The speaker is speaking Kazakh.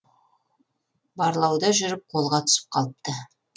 барлауда жүріп қолға түсіп қалыпты